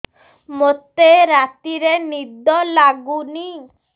ମୋତେ ରାତିରେ ନିଦ ଲାଗୁନି